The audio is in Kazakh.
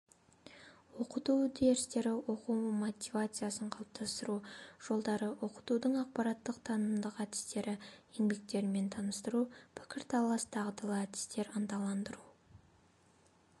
оқыту әдістері оқу мотивациясын қалыптастыру жолдары оқытудың ақпараттық-танымдық әдістері еңбектерімен таныстыру пікірталас дағдылы әдістер ынталандыру